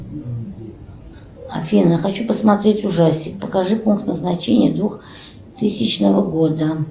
афина хочу посмотреть ужастик покажи пункт назначения двухтысячного года